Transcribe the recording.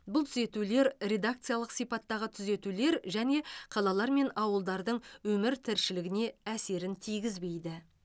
бұл түзетулер редакциялық сипаттағы түзетулер және қалалар мен ауылдардың өмір тіршілігіне әсерін тигізбейді